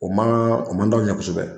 O man d'anw ye kosɛbɛ